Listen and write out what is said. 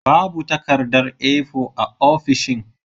Babu takardar A4 a ofishin.